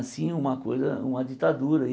Assim, uma coisa, uma ditadura.